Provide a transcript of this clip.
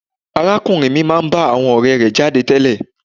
Arákùnrin mi máa ń bá àwọn ọ̀rẹ́ẹ rẹ̀ jáde tẹ́lẹ̀.